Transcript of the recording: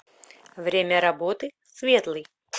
время работы светлый